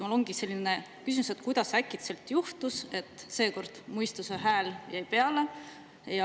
Mul ongi selline küsimus: kuidas äkitselt juhtus, et seekord mõistuse hääl jäi peale?